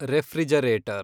refrigerator